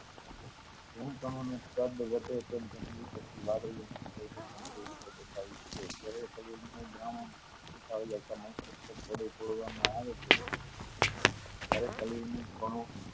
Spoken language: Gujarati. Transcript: નું દ્રાવણ રૂપાંતરીત છે ફરી તોડવામાં આવે ત્યારે શરીરના કણો